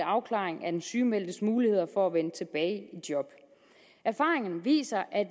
afklaring af den sygemeldtes muligheder for at vende tilbage i job erfaringen viser at